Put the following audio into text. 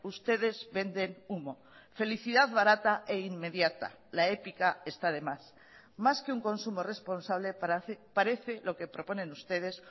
ustedes venden humo felicidad barata e inmediata la épica está de más más que un consumo responsable parece lo que proponen ustedes